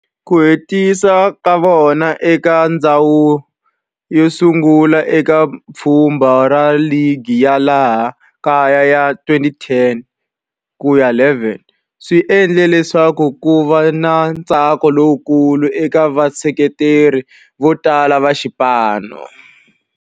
Ku hetisa ka vona eka ndzhawu yosungula eka pfhumba ra ligi ya laha kaya ya 2010-11 swi endle leswaku kuva na ntsako lowukulu eka vaseketeri votala va xipano.